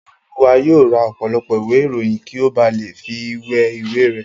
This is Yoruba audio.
Ọláolúwa yóò ra ọ̀pọ̀lọpọ̀ ìwé ìròyìn kí ó ba lè fi wé ìwé rẹ̀